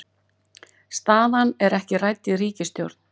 Staðan ekki rædd í ríkisstjórn